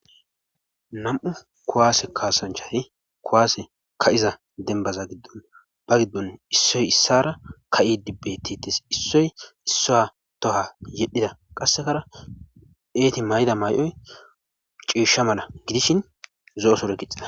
nam7u kowaase kaasanchayi kowaase ka iza denbaza giddon ba giddon issoy issara ka7i dibbe tites issoy issaa toha yedhida qassekara eeti may7da may7oy ciishsha mala gidishin zo7o sore kixa